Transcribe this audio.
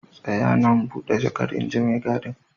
Tsaya nan, bude jakar inji maigadin.